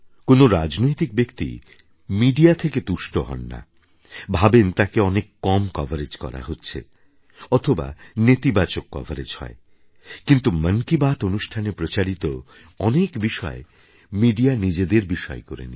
কোনও রাজনৈতিক ব্যক্তি মিডিয়া থেকে তুষ্ট হয় না ভাবেন তাঁকে অনেক কম কভারেজ করা হয় অথবা নেতিবাচক কভারেজ হয় কিন্তু মন কি বাত অনুষ্ঠানে প্রচারিত অনেক বিষয় মিডিয়া নিজেদের বিষয় করে নিয়েছে